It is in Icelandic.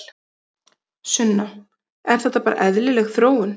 Sunna: Er þetta bara eðlileg þróun?